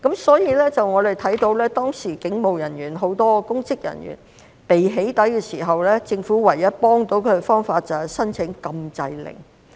所以，我們看到當時警務人員、很多公職人員被"起底"的時候，政府唯一可以幫助他們的方法就是申請禁制令。